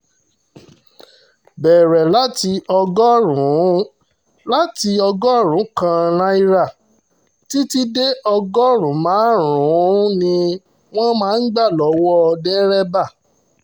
bẹ̀rẹ̀ láti ọgọ́rùn-ún láti ọgọ́rùn-ún kan náírà títí dé ọgọ́rùn-ún márùn-ún ni wọ́n máa ń gbà lọ́wọ́ dérẹ́bà